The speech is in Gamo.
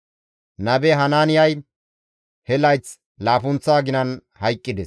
Nabe Hanaaniyay he layth laappunththa aginan hayqqides.